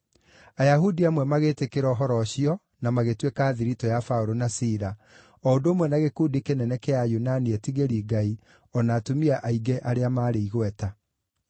Ayahudi amwe magĩtĩkĩra ũhoro ũcio na magĩtuĩka a thiritũ ya Paũlũ na Sila, o ũndũ ũmwe na gĩkundi kĩnene kĩa Ayunani etigĩri-Ngai, o na atumia aingĩ arĩa maarĩ igweta.